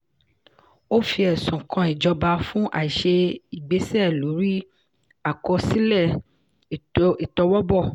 ó fi ẹ̀sùn kan ìjọba fún àìṣe ìgbésẹ̀ lórí àkọsílẹ̀ ìtọwọ́bọ̀.